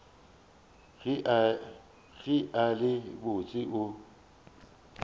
ge a le botse o